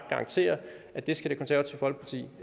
garantere at det konservative folkeparti